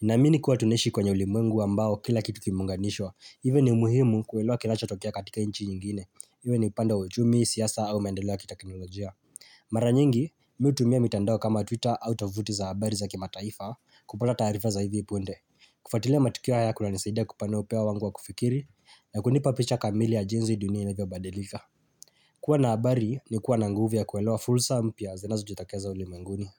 Naamini kuwa tunaishi kwenye ulimwengu ambao kila kitu kimeunganishwa. Hiyvo ni muhimu kuelewa kinachotokea katika nchi nyingine. Iwe ni upande wa uchumi, siasa au maendeleo ya kiteknolojia. Mara nyingi, mimi hutumia mitandao kama twitter au of tovuti za habari za kimataifa kupata taarifa za hivi punde. Kufuatilia matukio haya kunanisaidia kupanua upeo wangu wa kufikiri, na kunipa picha kamili ya jinsi dunia inavyobadilika. Kuwa na habari ni kuwa na nguvu ya kuelewa fursa mpya zinazojitokeza ulimwenguni.